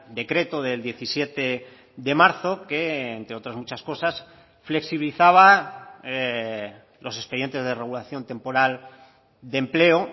decreto del diecisiete de marzo que entre otras muchas cosas flexibilizaba los expedientes de regulación temporal de empleo